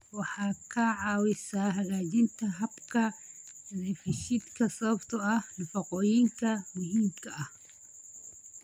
Waxay ka caawisaa hagaajinta habka dheefshiidka sababtoo ah nafaqooyinka muhiimka ah.